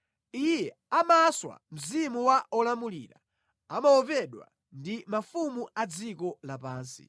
Iye amaswa mzimu wa olamulira; amaopedwa ndi mafumu a dziko lapansi.